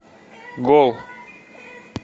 гол